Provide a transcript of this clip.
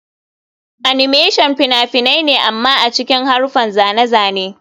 Animation fina-finai ne amma a cikin haruffan zane-zane.